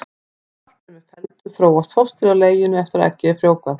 Þegar allt er með felldu þróast fóstrið í leginu eftir að eggið er frjóvgað.